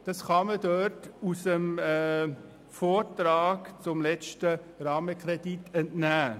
Das kann man im Vortrag zum letzten Rahmenkredit nachlesen: